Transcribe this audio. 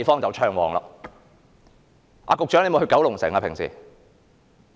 局長平常有去九龍城嗎？